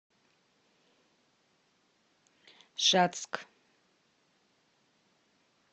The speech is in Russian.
шацк